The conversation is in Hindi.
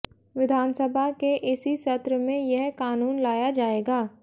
विधानसभा के इसी सत्र में यह कानून लाया जाएगा